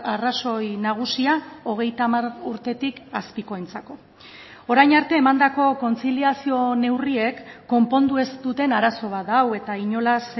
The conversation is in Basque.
arrazoi nagusia hogeita hamar urtetik azpikoentzako orain arte emandako kontziliazio neurriek konpondu ez duten arazo bat da hau eta inolaz